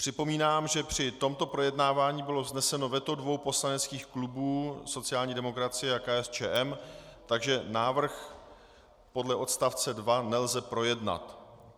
Připomínám, že při tomto projednávání bylo vzneseno veto dvou poslaneckých klubů, sociální demokracie a KSČM, takže návrh podle odst. 2 nelze projednat.